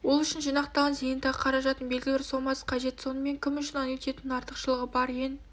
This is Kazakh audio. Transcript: ол үшін жинақталған зейнетақы қаражатының белгілі бір сомасы қажет сонымен кім үшін аннуитеттің артықшылығы бар ең